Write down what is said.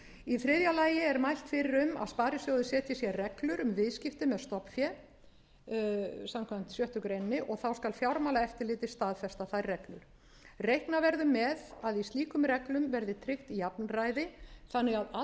í þriðja lagi er mælt fyrir um að sparisjóðir setji sér reglur um viðskipti með stofnfé samkvæmt sjöttu greinar og þá skal fjármálaeftirlitið staðfesta þær reglur reikna verður með að í slíkum reglum verði tryggt jafnræði þannig að allir þeir sem þess óska geti